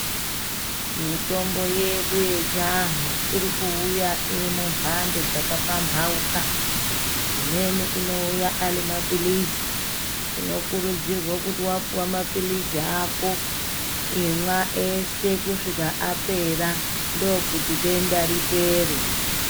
Mitombo yedu yechivantu iri kuuya iri mumhando dzakapamhauka. Imweni anouya ari maphirizi, tinokurudzirwa kuti vapuva maphirizi ako imwa ese kusvika apera ndokuti denda ripere.